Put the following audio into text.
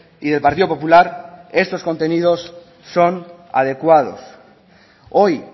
y del partido popular estos contenidos son adecuados hoy